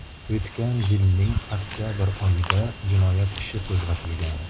O‘tgan yilning oktabr oyida jinoyat ishi qo‘zg‘atilgan.